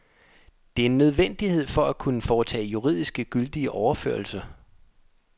Det er en nødvendighed for at kunne foretage juridisk gyldige overførsler.